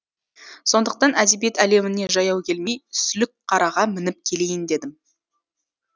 сондықтан әдебиет әлеміне жаяу келмей сүлікқараға мініп келейін дедім